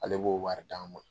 Ale b'o baarari d'an ma.